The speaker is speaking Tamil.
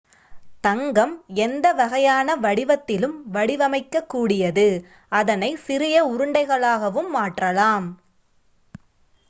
தங்கம் எந்த வகையான வடிவத்திலும் வடிவுவமைக்க கூடியது அதனை சிறிய உருண்டைகளாகவும் மாற்றலாம்